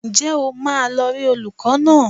Ǹjẹ́ o máa lọ rí olùkọ́ náà?